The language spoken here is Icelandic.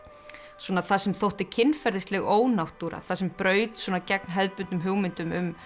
svona það sem þótti kynferðisleg ónáttúra það sem braut svona gegn hefðbundnum hugmyndum um